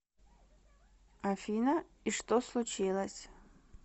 афина и что случилось